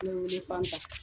N bɛwele Fanta